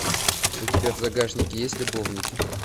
у тебя в загашнике есть любовники